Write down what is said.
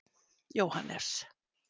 Jóhannes